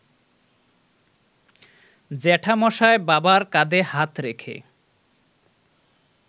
জ্যাঠামশায় বাবার কাঁধে হাত রেখে